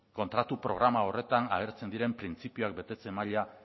kontratu programa horretan agertzen diren printzipioen betetze maila